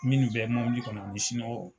Minnu bɛ mobili kɔnɔ misinɔgɔ.